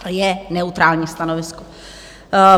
Je neutrální stanovisko.